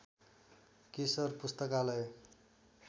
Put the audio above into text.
केशर पुस्तकालय